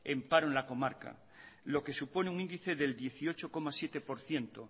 en paro en la comarca lo que supone un índice del dieciocho coma siete por ciento